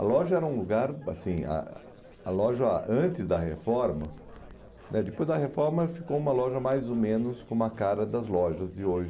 A loja era um lugar, assim, ah a loja antes da reforma, né depois da reforma ficou uma loja mais ou menos com a cara das lojas de hoje.